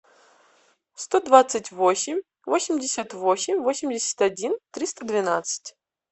сто двадцать восемь восемьдесят восемь восемьдесят один триста двенадцать